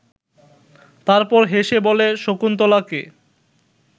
তারপর হেসে বলে শকুন্তলাকে